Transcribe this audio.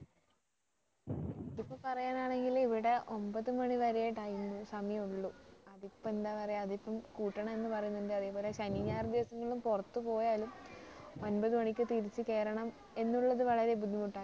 അതിപ്പോ പറയാൻ ആണെങ്കില് ഇവിടെ ഒമ്പത് മണിവരെ time സമയമുള്ളോ അതിപ്പോ എന്താ പറയാ അതിപ്പോ കൂട്ടണം എന്ന് പറയുന്നുണ്ട് അതേപോലെ ശനി ഞായർ ദിവസങ്ങളിൽ പുറത്തു പോയാലും ഒമ്പത് മണിക്ക് തിരിച്ച് കയറണം എന്നുള്ളത് വളരെ ബുദ്ധിമുട്ടാണ്